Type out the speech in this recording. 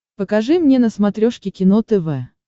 покажи мне на смотрешке кино тв